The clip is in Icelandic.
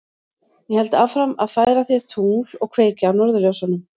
Ég held áfram að færa þér tungl og kveikja á norðurljósunum.